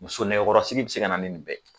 Muso nɛgɛkɔrɔsigi be se kana ni nin bɛɛ